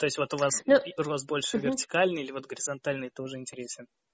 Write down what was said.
то есть вот у вас больше вертикальный или вот горизонтальный это уже интересен